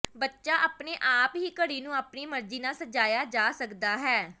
ਬੱਚਾ ਆਪਣੇ ਆਪ ਹੀ ਘੜੀ ਨੂੰ ਆਪਣੀ ਮਰਜੀ ਨਾਲ ਸਜਾਇਆ ਜਾ ਸਕਦਾ ਹੈ